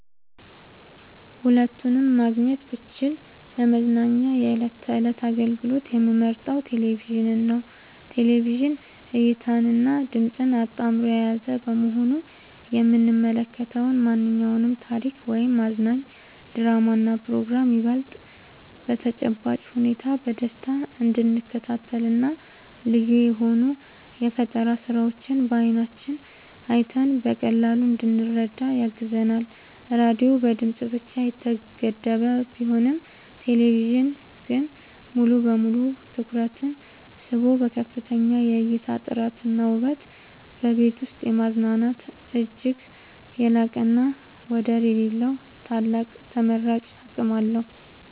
ሁለቱንም ማግኘት ብችል ለመዝናኛ የዕለት ተዕለት አገልግሎት የምመርጠው ቴሌቪዥንን ነው። ቴሌቪዥን እይታንና ድምጽን አጣምሮ የያዘ በመሆኑ የምንመለከተውን ማንኛውንም ታሪክ ወይም አዝናኝ ድራማና ፕሮግራም ይበልጥ በተጨባጭ ሁኔታ በደስታ እንድንከታተልና ልዩ የሆኑ የፈጠራ ስራዎችን በዓይናችን አይተን በቀላሉ እንድንረዳ ያግዘናል። ራዲዮ በድምጽ ብቻ የተገደበ ቢሆንም ቴሌቪዥን ግን ሙሉ በሙሉ ትኩረትን ስቦ በከፍተኛ የእይታ ጥራትና ውበት በቤት ውስጥ የማዝናናት እጅግ የላቀና ወደር የሌለው ታላቅ ተመራጭ አቅም አለው።